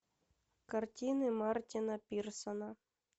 картины мартина пирсона